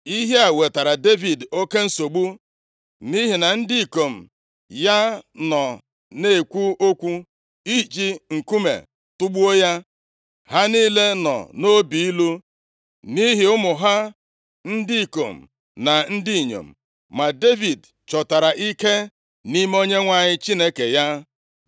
Ihe a wetaara Devid oke nsogbu, nʼihi na ndị ikom ya nọ na-ekwu okwu iji nkume tugbuo ya; ha niile nọ nʼobi ilu nʼihi ụmụ ha ndị ikom na ndị inyom. Ma Devid chọtara ike nʼime Onyenwe anyị Chineke ya.